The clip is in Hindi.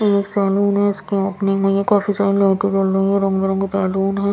एक सैलून है इसकी ओपनिंग हुई है काफी सारी लाइटे जल रही है रंग बिरंगे बैलून है ।